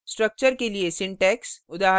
structure structure के लिए syntax